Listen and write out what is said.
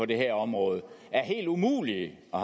det her område er helt umulig at